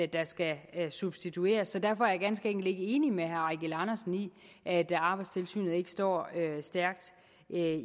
der skal substitueres så derfor er jeg ganske enkelt ikke enig med herre eigil andersen i at arbejdstilsynet ikke står stærkt